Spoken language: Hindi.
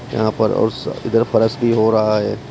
यहां पर और स इधर फर्श भी हो रहा है।